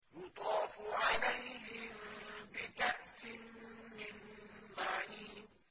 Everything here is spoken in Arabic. يُطَافُ عَلَيْهِم بِكَأْسٍ مِّن مَّعِينٍ